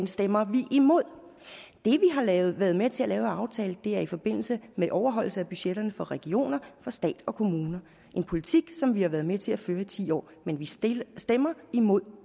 stemmer vi imod det vi har været med med til at lave af aftale er i forbindelse med overholdelse af budgetterne for regioner for stat og kommuner en politik som vi har været med til at føre ti år men vi stemmer stemmer imod